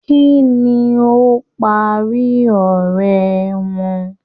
Kínní o parí ọrẹ wọn?